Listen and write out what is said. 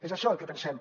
és això el que pensem